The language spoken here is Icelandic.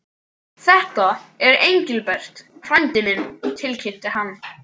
Þetta er Engilbert frændi minn tilkynnti hann.